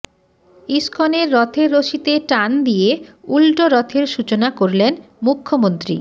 ইস্কনের রথের রশিতে টান দিয়ে উল্টোরথের সূচনা করলেন মুখ্যমন্ত্রী